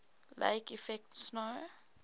lake effect snow